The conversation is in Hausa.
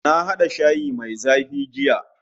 Na hada shayi mai zafi jiya